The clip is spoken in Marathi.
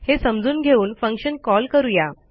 हे समजून घेऊन फंक्शन कॉल करू या